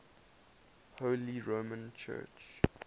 holy roman church